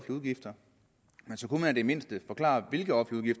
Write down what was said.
udgifter men så kunne man i det mindste forklare hvilke offentlige